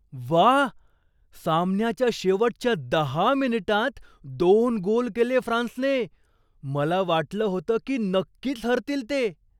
व्वा! सामन्याच्या शेवटच्या दहा मिनिटांत दोन गोल केले फ्रान्सने! मला वाटलं होतं की नक्कीच हरतील ते.